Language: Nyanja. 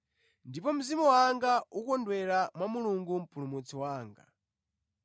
Ndipo mzimu wanga ukondwera mwa Mulungu Mpulumutsi wanga,